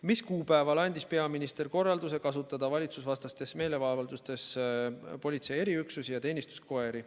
Mis kuupäeval andis peaminister korralduse kasutada valitsusvastastes meeleavaldustes politsei eriüksusi ja teenistuskoeri?